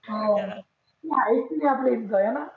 हा माहीत हेना?